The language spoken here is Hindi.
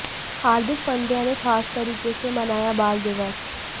हार्दिक पांड्या ने खास तरीके से मनाया बाल दिवस